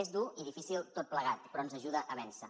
és dur i difícil tot plegat però ens ajuda a vèncer